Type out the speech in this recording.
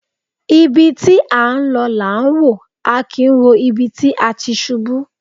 Ibi tí a ń lọ là ń wò, a kì í wo ibi tí a ti ṣubú.